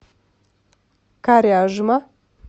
коряжма